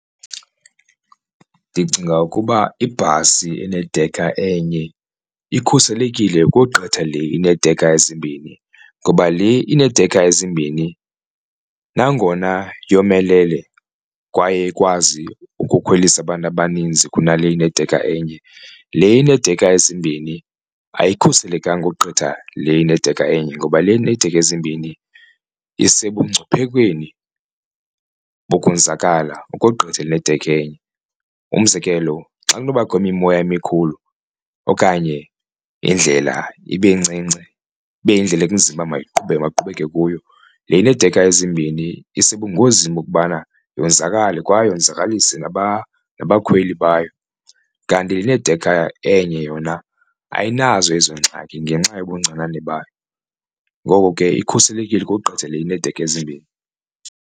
Ndicinga ukuba ibhasi enedekha enye ikhuselekile ukogqitha le ineedekha ezimbini ngoba le ineedekha ezimbini nangona yomelele kwaye ikwazi ukukhwelisa abantu abaninzi kunale inedekha enye le ineedekha ezimbini ayikhuselekanga ukugqitha le inedekha enye, ngoba le inedekha ezimbini isebungciphekweni kokonzakala ukogqitha enedekha enye. Umzekelo xa kunobakho imimoya emikhulu okanye indlela ibe ncinci ibe yindlela ekunzima uba mayiqhubeke kuyo le ineedekha ezimbini isebungozini bokubana yonzakale kwaye yonzakalise nabakhweli bayo. Kanti le enedekha enye yona ayinazo ezo ngxaki ngenxa yobuncinane bayo ngoko ke ikhuselekile ukogqitha le ineedekha ezimbini.